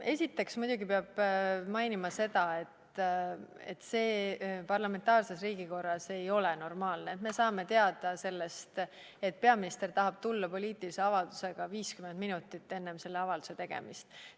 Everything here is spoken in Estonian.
Esiteks peab muidugi mainima seda, et parlamentaarses riigikorras ei ole normaalne, kui me saame teada sellest, et peaminister tahab tulla poliitilise avaldusega, 50 minutit enne selle avalduse tegemist.